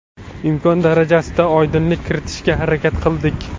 Imkon darajasida oydinlik kiritishga harakat qildik.